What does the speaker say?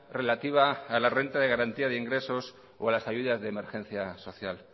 relativa a la renta de garantía de ingresos o a las ayudas de emergencia social